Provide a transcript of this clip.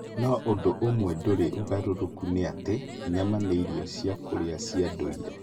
No ũndũ ũmwe ndũrĩ ũgarũrũka nĩ atĩ, nyama nĩ irio cia kũrĩa cia ndũire.